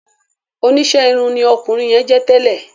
Oníṣe irun ní ọkunrin yẹn jẹ tẹlẹ